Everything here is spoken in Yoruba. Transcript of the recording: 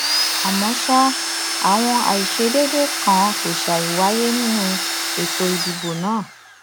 àmọ sáà àwọn àìṣedédé kan kò ṣàì wáyé nínú ètò ìdìbò náà